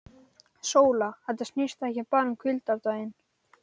SÓLA: Þetta snýst ekki bara um hvíldardaginn.